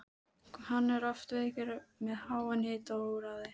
Hann var oft veikur með háan hita og óráði.